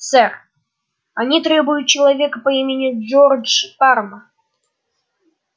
сэр они требуют человека по имени джордж парма